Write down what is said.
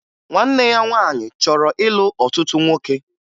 Nwanne ya nwaanyị chọrọ ịlụ ọtụtụ nwoke